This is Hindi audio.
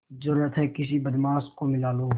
जरुरत हैं किसी बदमाश को मिला लूँ